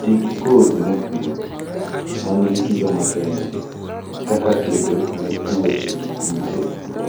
Tii gi kodhi mopuodhi manigi kido makende kaka kedo ne tuoche gi kute to